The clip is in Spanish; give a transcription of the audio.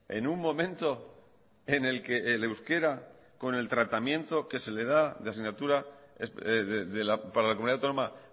en un momento en el que el euskera con el tratamiento que se le da de asignatura para la comunidad autónoma